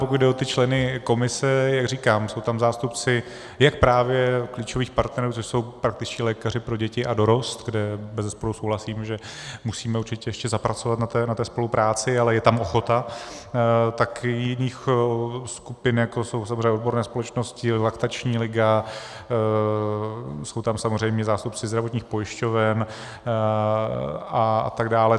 Pokud jde o členy komise, jak říkám, jsou tam zástupci jak právě klíčových partnerů, což jsou praktičtí lékaři pro děti a dorost, kde bezesporu souhlasím, že musíme určitě ještě zapracovat na té spolupráci, ale je tam ochota, tak i jiných skupin, jako jsou samozřejmě odborné společnosti, Laktační liga, jsou tam samozřejmě zástupci zdravotních pojišťoven a tak dále.